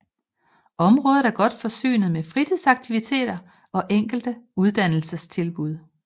Området er godt forsynet med fritidsaktiviteter og enkelte uddannelsestilbud